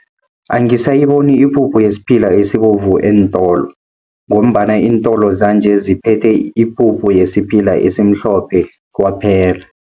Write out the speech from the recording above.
Angisayiboni ipuphu yesiphila esibovu eentolo, ngombana iintolo zanje ziphethe ipuphu yesiphila esimhlophe kwaphela.